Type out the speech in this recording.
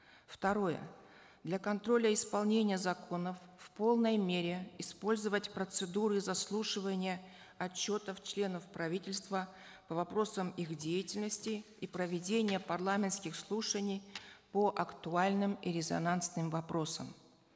второе для контроля исполнения законов в полной мере использовать процедуры заслушивания отчетов членов правительства по вопросам их деятельности и проведения парламентских слушаний по актуальным и резонансным вопросам